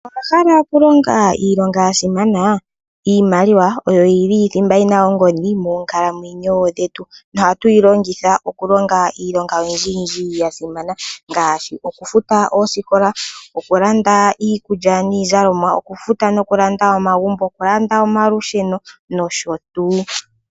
Owa hala okulonga iilonga yasimana iimaliwa oyo yili yasimana moonkalamwenyo dhetu.No ohatu yilongitha okulonga iilonga oyindji yindji yasimana ngaashi okufuta oosikola, okulanda iikulya niizalomwa, okufuta nokulanda omagumbo, okulanda omaludheno nosho tuu.